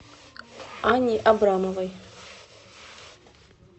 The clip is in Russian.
анне абрамовой